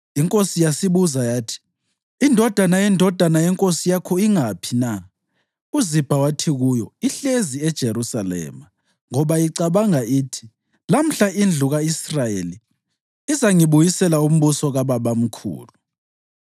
Inkosi yasibuza yathi, “Indodana yendodana yenkosi yakho ingaphi na?” UZibha wathi kuyo, “Ihlezi eJerusalema, ngoba icabanga ithi, ‘Lamhla indlu ka-Israyeli izangibuyisela umbuso kababamkhulu.’ ”